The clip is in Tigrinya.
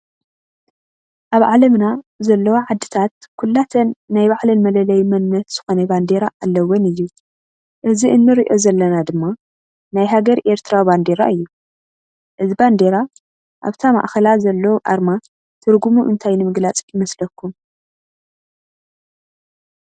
አብ ዓለምና ዘለዎ ዓድታት ኩላተን ናይ ባዕለን መለለይ መንነት ዝኮነ ባንዴራ አለዎን እዩ። እዚ እንሪኦ ዘለና ድማ ናይ ሃገር ኤርትራ ባንዴራ እዩ። እዚ ባንዴራ አብቲ ማእከላ ዘሎ አርማ ትርጉሙ እንታይ ንምግላፅ ይመስለኩም?